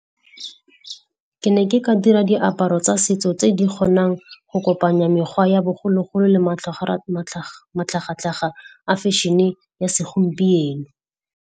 Ke ne ke ka dira diaparo tsa setso tse di kgonang go kopanya mekgwa ya bogologolo le matlhaga-tlhaga a fashion-e ya segompieno.